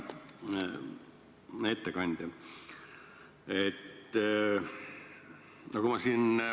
Hea ettekandja!